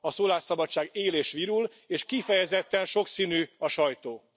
A szólásszabadság él és virul, és kifejezetten sokszínű a sajtó.